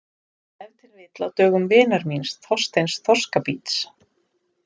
Ef til vill á dögum vinar míns Þorsteins þorskabíts.